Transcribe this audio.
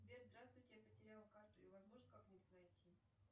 сбер здравствуйте я потеряла карту ее возможно как нибудь найти